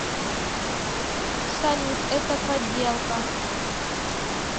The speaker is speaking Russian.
салют это подделка